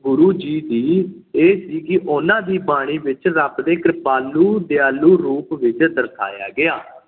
ਗੁਰੂ ਜੀ ਦੀ ਇਹ ਸੀ ਕਿ ਉਹਨਾਂ ਦੀ ਬਾਣੀ ਵਿੱਚ ਰੱਬ ਦੇ ਕ੍ਰਿਪਾਲੂ, ਦਿਆਲੂ ਰੂਪ ਵਿੱਚ ਦਰਸਾਇਆ ਗਿਆ